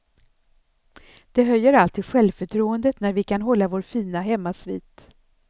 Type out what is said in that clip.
Det höjer alltid självförtroendet när vi kan hålla vår fina hemmasvit.